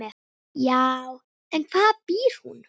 Já, en hvar býr hún?